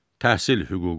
Təhsil hüququ.